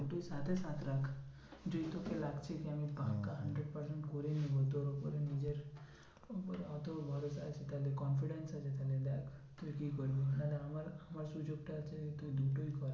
তুই সাতে সাত রাখ যদি তোকে লাগছে কি আমি পাক্কা hundred percent করে নেবো তো উপরে নিজের উপরে অত ভরসা আছে confidence আছে তাহলে দেখ তুই কি করবি। না হলে আমার আমার তুই দুটোই কর